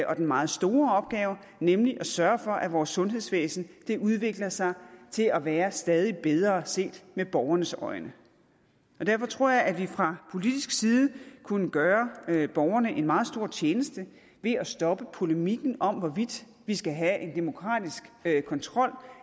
den meget store opgave nemlig at sørge for at vores sundhedsvæsen udvikler sig til at være stadig bedre set med borgernes øjne derfor tror jeg at vi fra politisk side kunne gøre borgerne en meget stor tjeneste ved at stoppe polemikken om hvorvidt vi skal have en demokratisk kontrol